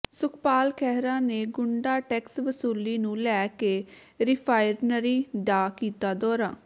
ਸੁਖਪਾਲ ਖਹਿਰਾ ਨੇ ਗੰੁਡਾ ਟੈਕਸ ਵਸੂਲੀ ਨੂੰ ਲੈ ਕੇ ਰਿਫ਼ਾਈਨਰੀ ਦਾ ਕੀਤਾ ਦੌਰਾ